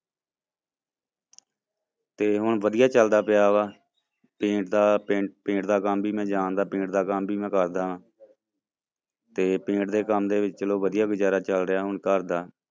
ਤੇ ਹੁਣ ਵਧੀਆ ਚੱਲਦਾ ਪਿਆ ਵਾ paint ਦਾ paint ਦਾ ਕੰਮ ਵੀ ਮੈਂ ਜਾਣਦਾ paint ਦਾ ਕੰਮ ਵੀ ਮੈਂ ਕਰਦਾ ਤੇ paint ਦੇ ਕੰਮ ਦੇ ਵਿੱਚ ਚਲੋ ਵਧੀਆ ਗੁਜ਼ਾਰਾ ਚੱਲ ਰਿਹਾ ਹੁਣ ਘਰਦਾ।